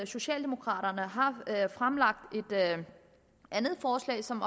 socialdemokraterne fremlagt et andet forslag som